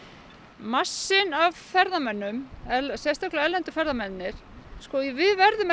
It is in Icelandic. massinn af ferðamönnum sérstaklega erlendu ferðamennirnir við verðum